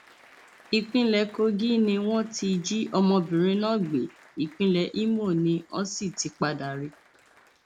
ìpínlẹ kogi ni wọn ti jí ọmọbìnrin náà gbé ìpínlẹ ìmọ ní ọn sì ti padà rí i